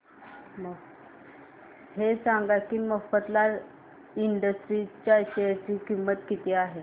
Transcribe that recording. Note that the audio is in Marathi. हे सांगा की मफतलाल इंडस्ट्रीज च्या शेअर ची किंमत किती आहे